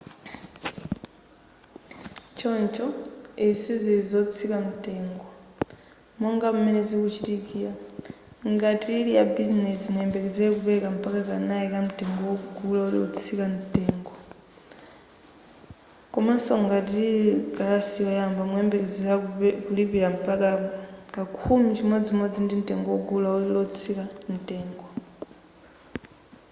choncho izi sizili zotsika mtengo monga m'mene zikuchitikira ngati ili ya bizinezi muyembekezere kupereka mpaka kanayi ka mtengo wagulu lotsika mtengo komaso ngati ili kalasi yoyamba muyembekezere kulipira mpaka ka khumi mchimodzi ya mtengo wagulu lotsika mtengo